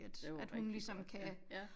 Det var rigtig godt ja